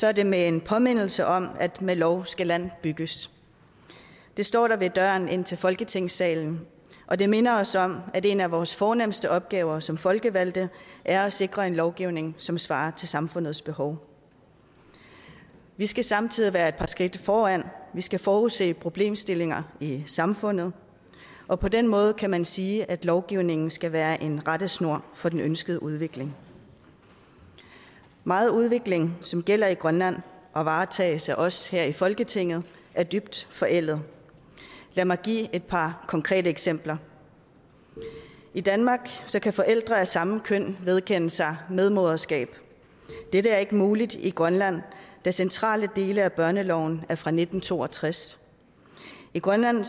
er det med en påmindelse om at med lov skal land bygges det står der ved døren ind til folketingssalen og det minder os om at en af vores fornemste opgaver som folkevalgte er at sikre en lovgivning som svarer til samfundets behov vi skal samtidig være et par skridt foran vi skal forudse problemstillinger i samfundet og på den måde kan man sige at lovgivningen skal være en rettesnor for den ønskede udvikling meget udvikling som gælder i grønland og varetages af os her i folketinget er dybt forældet lad mig give et par konkrete eksempler i danmark kan forældre af samme køn vedkende sig medmoderskab dette er ikke muligt i grønland da centrale dele af børneloven er fra nitten to og tres i grønland